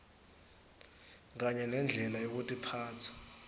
kanye nendlela yekutiphatsa